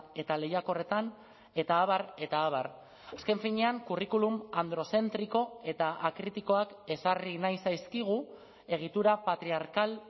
eta lehiakorretan eta abar eta abar azken finean curriculum androzentriko eta akritikoak ezarri nahi zaizkigu egitura patriarkal